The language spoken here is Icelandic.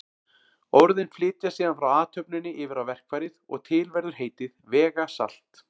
Orðin flytjast síðan frá athöfninni yfir á verkfærið og til verður heitið vegasalt.